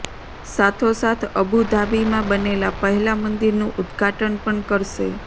સાથો સાથ અબુ ધાબીમાં બનેલા પહેલા મંદિરનું ઉદ્ધાટન પણ કરશે